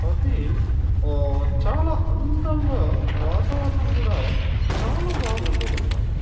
అవి ఓ చాల అందం గ వాతావరణం కూడా చాల బాగుండేదన్నమాట.